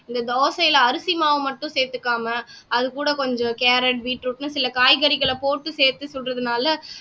இந்த தோசையில அரிசி மாவு மட்டும் சேர்த்துக்காம அதுகூட கொஞ்சம் கேரட் பீட்ரூட்ன்னு சில காய்கறிகளை போட்டு சேர்த்து சுடுறதுனால